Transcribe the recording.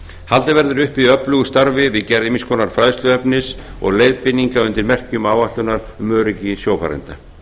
haldið verður uppi öflugu starfi við gerð ýmiss konar fræðsluefnis og leiðbeininga undir merkjum áætlunar um öryggi sjófarenda